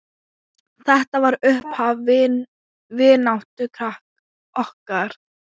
Þetta var upphaf vináttu okkar.